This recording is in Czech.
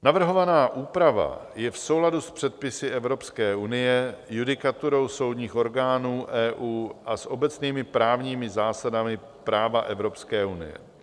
Navrhovaná úprava je v souladu s předpisy Evropské unie, judikaturou soudních orgánů EU a s obecnými právními zásadami práva Evropské unie.